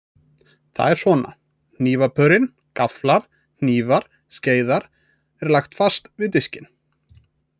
Það er svona: Hnífapörin, gafflar, hnífar, skeiðar, er lagt fast við diskinn.